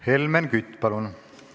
Helmen Kütt, palun!